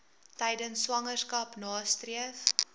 tydens swangerskap nastreef